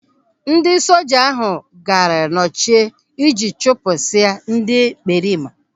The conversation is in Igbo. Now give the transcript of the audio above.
Ndị soja ahụ gaara nyocha iji chụpụsịa ndị ekperima.